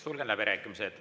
Sulgen läbirääkimised.